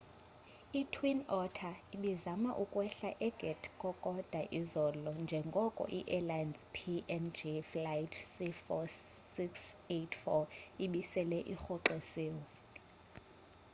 i-twin otter ibizama ukwehlela egat kokoda izolo njengoko iairlines png flight c4684 ibisele irhoxisile